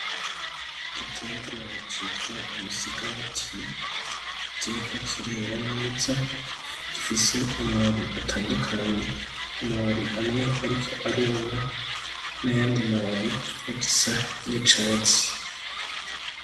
Igiterwa citwa umusigati, kiriko kirera neza, gifise amababi atandukanye, amababi amwe ariko aruma n'ayandi mababi agisa n'icatsi.